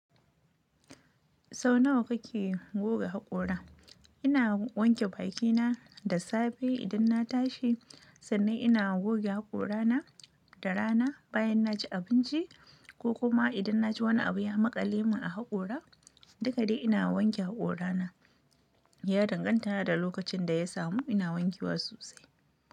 Sau nawa kake goge haƙora? Ina wanke bakina da safe idan na tashi, sannan ina goge haƙorana da rana bayan na ci abinci ko kuma idan na ji wani abu ya maƙale mun a haƙora. Duka dai ina wanke haƙorana. Yadan gan ta na da lokacin da ya samu ina wankewa sosai.